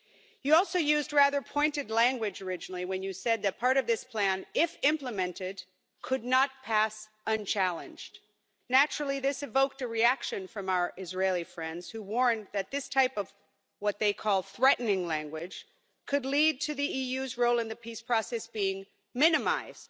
You also used rather pointed language originally when you said that part of this plan, if implemented, could not pass unchallenged. Naturally this evoked a reaction from our Israeli friends, who warned that this type of what they called threatening' language could lead to the EU's role in the peace process being minimised.